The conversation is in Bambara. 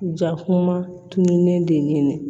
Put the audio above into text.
Jakuma tununnen de